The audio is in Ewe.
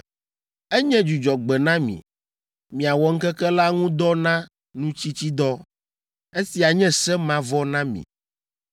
Enye dzudzɔgbe na mi, miawɔ ŋkeke la ŋu dɔ na nutsitsidɔ. Esia nye se mavɔ na mi.